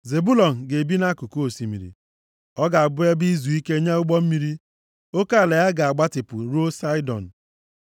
“Zebụlọn ga-ebi nʼakụkụ osimiri. Ọ ga-abụ ebe izuike nye ụgbọ mmiri. Oke ala ya ga-agbatịpụ ruo Saịdọn.